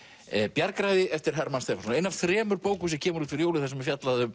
bjargræði eftir Hermann Stefánsson ein af þremur bókum sem kemur út fyrir jólin þar sem fjallað er um